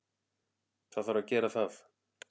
Það þarf að gera það.